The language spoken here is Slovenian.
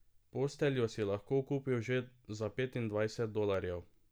Posteljo si lahko kupil že za petindvajset dolarjev.